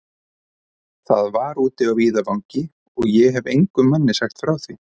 Það var úti á víðavangi, og ég hefi engum manni frá því sagt.